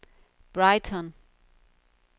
Brighton